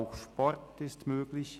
auch Sport ist möglich.